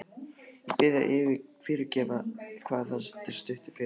Ég bið þig að fyrirgefa hvað þetta er stuttur fyrirvari.